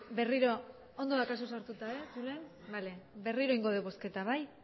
berriro ondo daukazu sartuta berriro egingo dugu bozketa bai